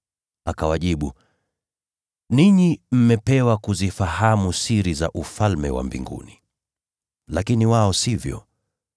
Akawajibu, “Ninyi mmepewa kuzifahamu siri za Ufalme wa Mbinguni, lakini wao hawajapewa.